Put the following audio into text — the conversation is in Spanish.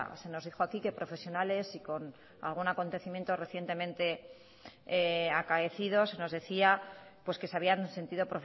se nos dijo aquí que profesionales y con algún acontecimiento recientemente acaecido se nos decía pues que se habían sentido